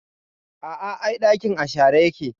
A a, ai ɗakin a share yake.